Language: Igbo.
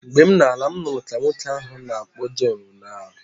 M na-ala, m nụrụ ka nwoke ahụ na-akpọ John onye ara